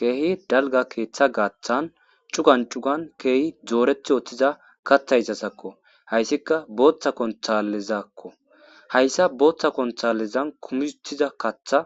keehi dalga keeththa gaaththan cugan cugan keehi dooreti ootthiza kathaysasakko hayssika booththa konthalezakko hayssa booththa konthalezan kumisutiza katha